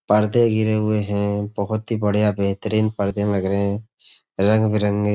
पर्दे गिरे हुए हैं। बोहोत ही बढ़िया बेहतरीन पर्दे लग रहे हैं। रंग बिरंगे --